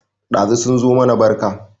Ɗazu sun zo mana barka